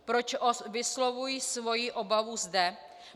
Proč vyslovuji svoji obavu zde?